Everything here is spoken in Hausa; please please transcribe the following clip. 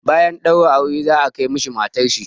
Bayan ɗaura aure za a kai mishi matar shi.